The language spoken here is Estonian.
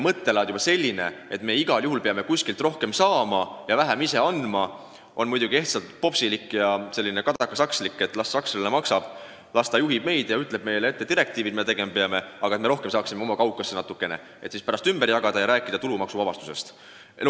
Mõttelaad, et me igal juhul peame kuskilt rohkem saama ja vähem ise andma, on muidugi ehtsalt popsilik ja samas ka selline kadakasakslik: las sakslane maksab, las ta juhib meid ja ütleb meile direktiivides ette, mida me tegema peame, peaasi, et me oma kaukasse natukene raha saaksime, et seda ümber jagada ja rääkida tulumaksuvabastusest.